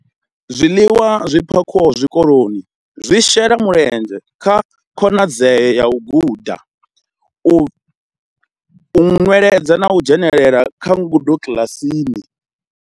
Zwiḽiwa zwi phakhiwaho zwikoloni zwi shela mulenzhe kha khonadzeo ya u guda, u nweledza na u dzhenela kha ngudo kiḽasini.